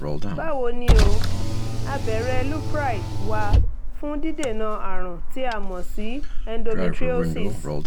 báwo ni o? abẹ́rẹ́ lupride wà fún dídènà àrùn tí a mọ̀ sí endometriosis